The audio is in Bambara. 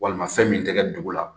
Walima fɛn min tɛ kɛ dugu la